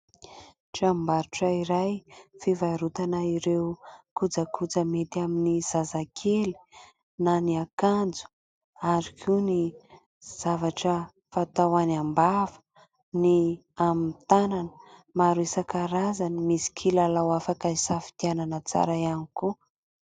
Tranombarotra iray fivarotana ireo kojakoja mety amin'ny zazakely na ny akanjo ary koa ny zavatra fatao any am-bava ny amin'ny tanana maro isan-karazany. Misy kilalao afaka isafidianana tsara ihany koa.